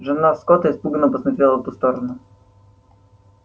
жена скотта испуганно посмотрела в ту сторону